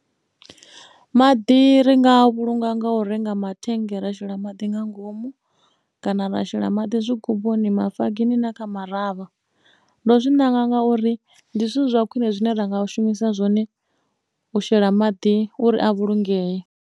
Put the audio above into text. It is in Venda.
Maḓi ri nga a vhulunga nga u renga mathennge ra shela maḓi nga ngomu kana ra shela maḓi zwigubuni, mafogisi na kha maravha ndo zwi nanga ngauri ndi zwithu zwa khwine zwine ra nga u shumisa zwone u shela maḓi uri a vhulungeye.